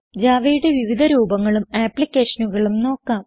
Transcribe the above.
javaയുടെ വിവിധ രൂപങ്ങളും ആപ്ലിക്കേഷനുകളും നോക്കാം